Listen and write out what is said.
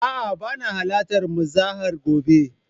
A'a bana halartar muzaharar gobe